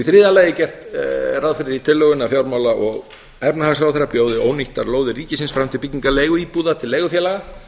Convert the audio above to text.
í þriðja lagi er gert ráð fyrir því í tillögunni að fjármála og efnahagsráðherra bjóði ónýttar lóðir ríkisins fram til byggingar leiguíbúða til leigufélaga